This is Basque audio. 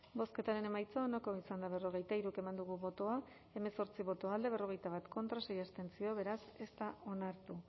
bozketaren emaitza onako izan da berrogeita hiru eman dugu bozka hemezortzi boto alde berrogeita bat contra sei abstentzio beraz ez da onartu